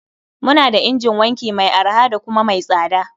Muna da injin wanki mai arha da kuma mai tsada.